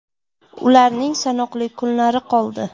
Ularning sanoqli kunlari qoldi!